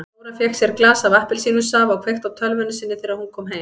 Dóra fékk sér glas af appelsínusafa og kveikti á tölvunni sinni þegar hún kom heim.